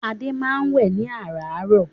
Adé máa ń wẹ́ ẹ̀ ní àràárọ̀.